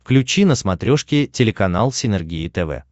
включи на смотрешке телеканал синергия тв